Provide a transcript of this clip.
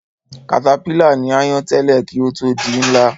Katapílà ní áyán tẹ́lẹ̀ kí ó tó di ńlá